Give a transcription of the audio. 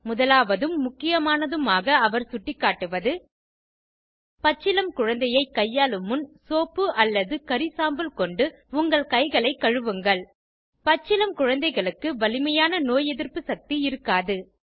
முதலாவதும் முக்கியமானதுமாக அவர் சுட்டிக்காட்டுவது பச்சிளம் குழந்தையை கையாளும் முன் சோப்பு அல்லது கரி சாம்பல் கொண்டு உங்கள் கைகளை கழுவுங்கள் பச்சிளம் குழந்தைகளுக்கு வலிமையான நோய் எதிர்ப்பு சக்தி இருக்காது